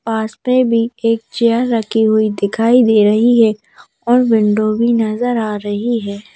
पास में भी एक चेयर रखी हुई दिखाई दे रही है और विंडो भी नजर आ रही है।